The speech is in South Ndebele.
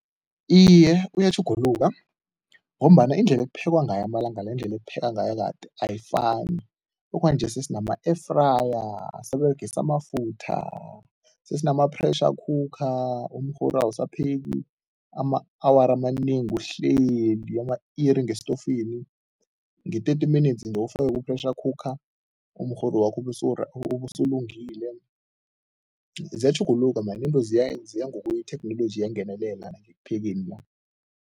Iye, uyatjhuguluka ngombana indlela ekuphekwa ngayo amalanga la, indlela ekuphekwa ngayo kade, ayifani. Okwanje sesinama-air fryer, asisaberegisi amafutha, sesinama-pressure cooker, umrhoru awusaphekwi ama-awara amanengi, uhleli ama-iri ngestofini, nge-thirty minutes ufake ku-pressure cooker umrhoru wakho ube ubesewulungile, ziyatjhuguluka man into ziya ngokwetheknoloji iyangenelela ekuphekeni la.